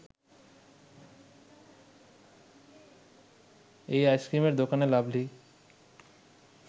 এক আইসক্রিমের দোকানে লাভলি